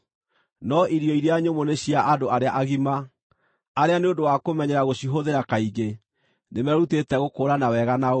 No irio iria nyũmũ nĩ cia andũ arĩa agima, arĩa nĩ ũndũ wa kũmenyera gũcihũthĩra kaingĩ, nĩmerutĩte gũkũũrana wega na ũũru.